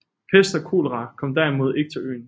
Pest og kolera kom derimod ikke til øen